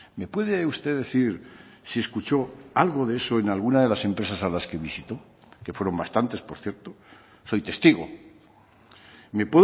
me puede usted decir si escuchó algo de eso en alguna de las empresas a las que visitó que fueron bastantes por cierto soy testigo me